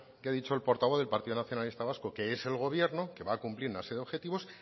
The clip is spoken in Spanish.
que ha dicho el portavoz de partido nacionalista vasco que es el gobierno que va a cumplir una serie de objetivos